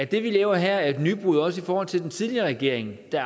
det vi laver her er et nybrud også i forhold til den tidligere regering der